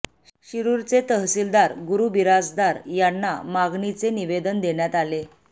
शिरूरचे तहसीलदार गुरू बिराजदार यांना मागणीचे निवेदन देण्यात आले